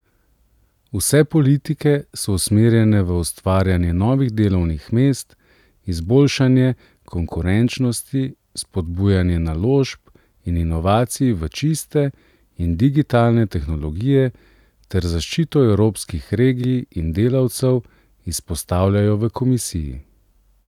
Vse politike so usmerjene v ustvarjanje novih delovnih mest, izboljšanje konkurenčnosti, spodbujanje naložb in inovacij v čiste in digitalne tehnologije ter zaščito evropskih regij in delavcev, izpostavljajo v komisiji.